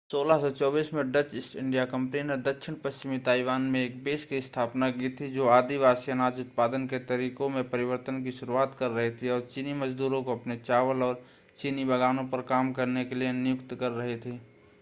1624 में Dutch East India company ने दक्षिण-पश्चिमी ताइवान में एक बेस की स्थापना की थी जो आदिवासी अनाज उत्पादन के तरीको में परिवर्तन की शुरुआत कर रही थी और चीनी मजदूरों को अपने चावल और चीनी बागानों पर काम करने के लिए नियुक्त कर रही थी